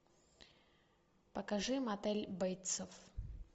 покажи мотель бейтсов